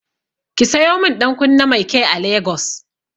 Ki sayo min ɗankunne mai kyai a Lagos.